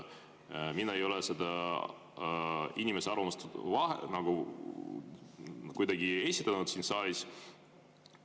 Mina ei ole selle inimese arvamust mitte kuidagi esindanud siin saalis.